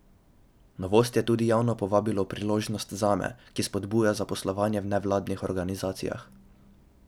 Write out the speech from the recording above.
Novost je tudi javno povabilo Priložnost zame, ki spodbuja zaposlovanje v nevladnih organizacijah.